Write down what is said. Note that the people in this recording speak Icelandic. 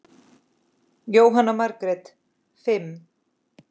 Jóhanna Margrét: Fimm?